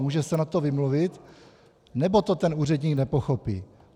Může se na to vymluvit, nebo to ten úředník nepochopí?